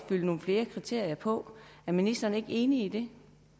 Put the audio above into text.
fylde nogle flere kriterier på er ministeren ikke enig